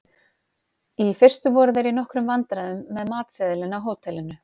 Í fyrstu voru þeir í nokkrum vandræðum með matseðilinn á hótelinu.